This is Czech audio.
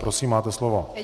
Prosím, máte slovo.